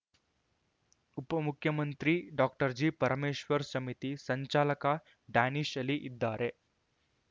ಉಪಮುಖ್ಯಮಂತ್ರಿ doctor G Parameshwar ಸಮಿತಿ ಸಂಚಾಲಕ ಡ್ಯಾನಿಷ್ ಆಲಿ ಇದ್ದಾರೆ